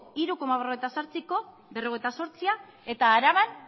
hiru koma berrogeita zortzia eta araban